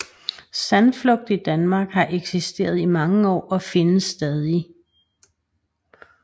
Sandflugt i Danmark har eksisteret i mange år og findes stadig